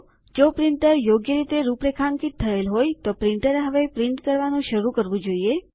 જો પ્રિન્ટર યોગ્ય રીતે રૂપરેખાંકિત થયેલ હોય તો પ્રિન્ટરએ હવે છાપવાનું શરૂ કરવું જોઈએ